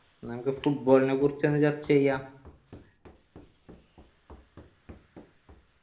എന്ന നമ്മുക്ക് football നെ കുറിച്ച് ഒന്ന് ചർച്ച ചെയ്യാ